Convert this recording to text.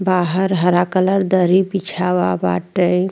बाहर हरा कलर दरी बिछावा बाटे।